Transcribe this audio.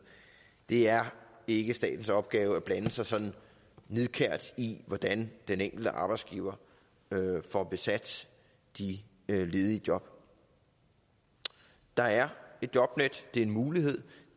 det er ikke statens opgave at blande sig så nidkært i hvordan den enkelte arbejdsgiver får besat de ledige job der er et jobnet det er en mulighed